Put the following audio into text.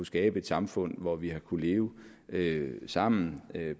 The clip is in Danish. skabe et samfund hvor vi har kunnet leve leve sammen